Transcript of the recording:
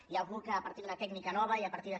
hi ha algú que a partir d’una tècnica nova i a partir de